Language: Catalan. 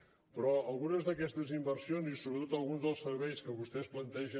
però algunes d’aquestes inversions i sobretot alguns dels serveis que vostès plantegen